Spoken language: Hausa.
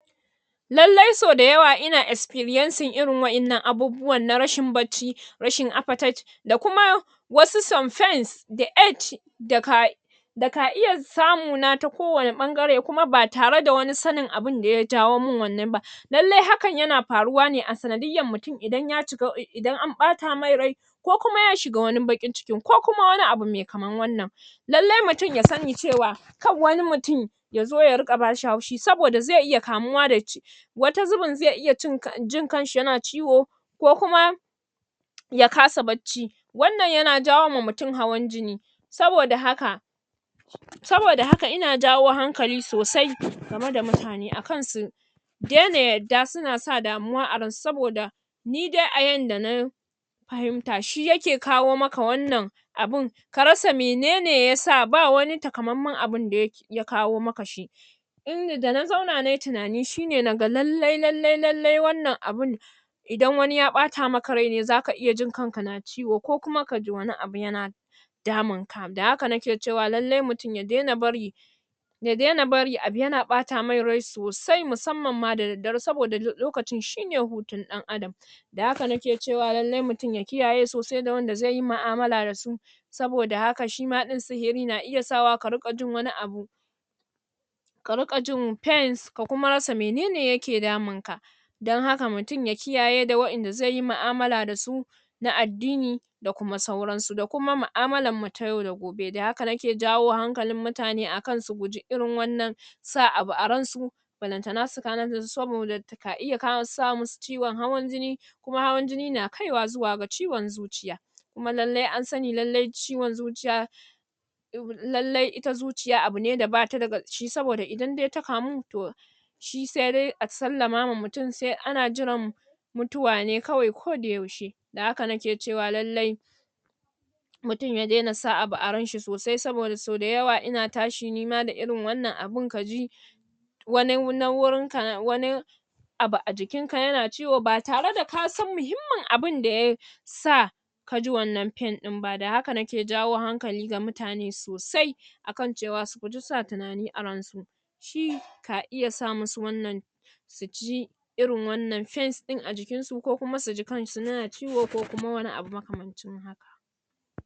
lallai sau da yawa ina experiencing irin wa'innan abubuwan na rashin bacci rashin appetite da kuma wasu some pains da age da ka da ka iya samuna ta kowane ɓangare kuma ba tare da wani sanin abin da ya jawo min wannan ba lallai hakan yana faruwa ne a sanadiyyan mutum idan ya ciga, idan an ɓata mai rai ko kuma ya shiga wani baƙin cikin ko kuma wani abu me kaman wannan lallai mutum ya sani cewa kar wani mutum ya zo ya riƙa bashi haushi saboda zai iya kamuwa da ci wata zibin zai iya cin jin kanshi yana ciwo ko kuma ya kasa bacci wannan yana jawoma mutum hawan jini saboda haka saboda haka ina jawo hankali sosai game da mutane akan su daina yadda suna sa damuwa a ransu saboda ni dai a yanda na fahimta shi yake kawo maka wannan abin ka ka rasa mene ne yasa ba wani takamanman abin da yake ya kawo maka shi inda da na zauna na yi tunani shi ne naga lallai-lallai lallai-lallai wannan abin idan wani ya ɓata maka rai ne zaka iya jin kanka na ciwo ko kuma ka ji wani abu yana damunka da haka nake cewa lallai mutum ya daina bari ya daina bari abu yana ɓata mai rai sosai musamman ma da daddare saboda lokacin shi ne hutun ɗan adam da haka nake cewa lallai mutum ya kiyaye sosai da wanda zai yi mu'amala da su saboda haka shima ɗin sihiri na iya sawa ka riƙa jin wani abu ka riƙa jin pains ka kuma rasa mene ne yake damunka don haka mutum ya kiyaye da wa'inda zai yi mu'amala da su na addini da kuma sauransu, da kuma mu'amalarmu ta yau da gobe, da haka nake jawo hankalin mutane akan su guji irin wannan sa abu a ransu ballantana su kwana da saboda ka iya sa musu ciwon hawan jini kuma hawan jini na kaiwa zuwa ga ciwon zuciya kuma lallai an sani lallai ciwon zuciya lallai ita zuciya abu ne da bata da ƙashi saboda idan dai ta kamu to shi sai dai a sallama ma mutum sai ana jiran mutuwa ne kawai koda yaushe da haka nake cewa lallai mutum ya daina sa abu a ranshi sosai saboda so da yawa ina tashi nima da irin wannan abin ka ji wani na wurinka wani abu a jikinka yana ciwo ba tare da kasan muhimmin abin da ya sa ka ji wannan pain ɗin ba, da haka nake jawo hankali ga mutane sosai akan cewa su guji sa tunani a ransu shi ka iya sa musu wannan ki ji irin wannan pains ɗin a jikinsu, ko kuma su ji kansu yana ciwo ko kuma wani abu maka mancin haka